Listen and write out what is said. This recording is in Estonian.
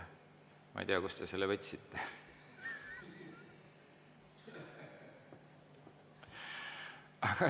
Ma ei tea, kust te selle võtsite.